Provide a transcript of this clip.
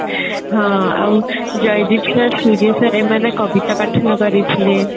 ହଁ ଆଉ Jaydeep sir Surya sir ଏମାନେ କବିତା ପାଠନ କରିଥିଲେ